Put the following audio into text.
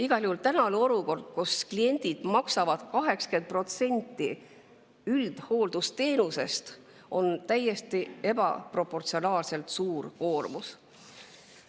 Igal juhul on tänases olukorras, kus kliendid maksavad 80% üldhooldusteenusest kinni, see täiesti ebaproportsionaalselt suur koormus.